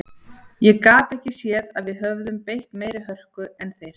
Ég gat ekki séð að við höfum beitt meiri hörku en þeir.